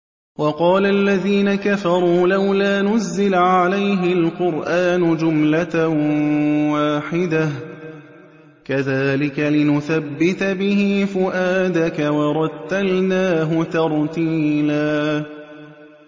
وَقَالَ الَّذِينَ كَفَرُوا لَوْلَا نُزِّلَ عَلَيْهِ الْقُرْآنُ جُمْلَةً وَاحِدَةً ۚ كَذَٰلِكَ لِنُثَبِّتَ بِهِ فُؤَادَكَ ۖ وَرَتَّلْنَاهُ تَرْتِيلًا